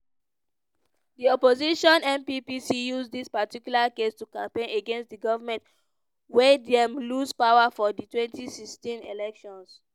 di opposition npp use dis particular case to campaign against di goment wia dem lose power for di 2016 elections.